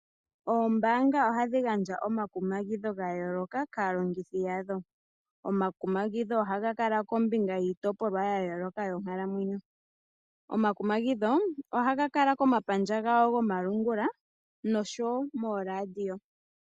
Oombaanga ohadhi gandja omakumagidho ga yooloka kaalongithi yadho. Omakumagidho ohaga kala kombinga yiitopolwa ya yooloka yonkalamwenyo. Omakumagidho ohaga kala komapandja gawo gomalungula nosho wo mooradio.